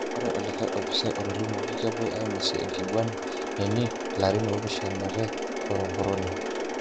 Ore olikae opisai otolimuoki kepwoi ainosie enkiguana neni larin opishanate korokoroni.